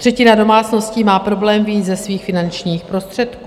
Třetina domácností má problém vyjít se svými finančními prostředky.